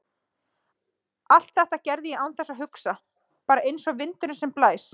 Allt þetta gerði ég án þess að hugsa, bara einsog vindurinn sem blæs.